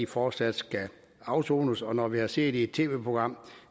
fortsat skal afsone og når vi har set i et tv program